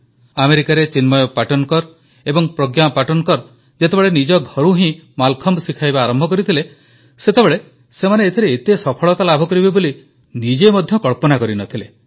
ଆମେରିକାରେ ଚିନ୍ମୟ ପାଟନକର ଏବଂ ପ୍ରଜ୍ଞା ପାଟନକର ଯେତେବେଳେ ନିଜ ଘରୁ ହିଁ ମାଲଖମ୍ବ ଶିଖାଇବା ଆରମ୍ଭ କରିଥିଲେ ସେତେବେଳେ ସେମାନେ ଏଥିରେ ଏତେ ସଫଳତା ଲାଭ କରିବେ ବୋଲି ନିଜେ ମଧ୍ୟ କଳ୍ପନା କରି ନ ଥିଲେ